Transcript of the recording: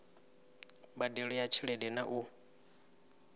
mbadelo ya tshelede na u